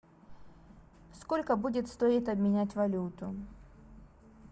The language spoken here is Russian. сколько будет стоить обменять валюту